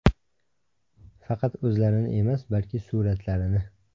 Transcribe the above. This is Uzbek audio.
Faqat o‘zlarini emas, balki suratlarini.